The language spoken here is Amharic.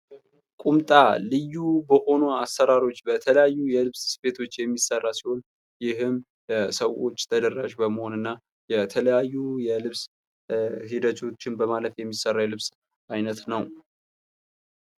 ቁምጣ ልዩ በሆኑ አሰራሮች በተለያዩ የልብስ ስፌቶች የሚሠራ ሲሆን፤ ይህም በሰዎች ተደራሽ በመሆን እና የተለያዩ የልብስ ሂደቶችን በማለፍ የሚሠራ የልብስ ዓይነት ነው።